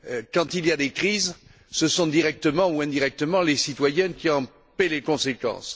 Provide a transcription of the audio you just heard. Quand il y a des crises, ce sont directement ou indirectement les citoyens qui en paient les conséquences.